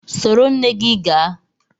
Soro nne gị gaa!